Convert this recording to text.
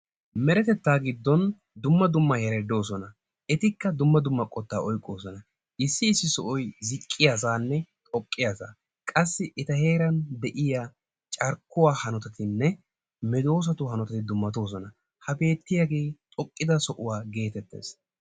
Meretetta giddon dumma dumma heratti de'oosona. Etikka dumma dumma qottaa oyqqosona. Issi issi sohoy ziqqiyaganne xoqqiyaga qassi etta heeran de'iya carkkuwa hanotay medoossa hanotattay dumattees. Ha bettiyagee xooqqidda sohuwa gettettees.